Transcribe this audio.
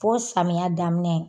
Fo samiya daminɛ